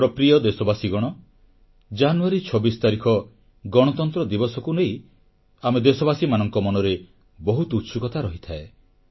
ମୋର ପ୍ରିୟ ଦେଶବାସୀଗଣ ଜାନୁୟାରୀ 26 ତାରିଖ ଗଣତନ୍ତ୍ର ଦିବସକୁ ନେଇ ଆମେ ଦେଶବାସୀମାନଙ୍କ ମନରେ ବହୁତ ଉତ୍ସୁକତା ରହିଥାଏ